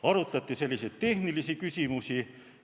Arutati tehnilisi küsimusi.